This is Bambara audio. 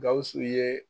Gawusu ye